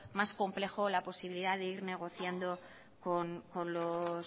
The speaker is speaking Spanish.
más complejo la posibilidad de ir negociando